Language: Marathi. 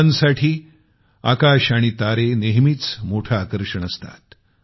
मुलांसाठी आकाश आणि तारे नेहमीच मोठे आकर्षण असतात